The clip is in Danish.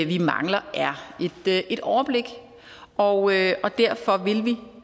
vi mangler er et overblik og og derfor vil vi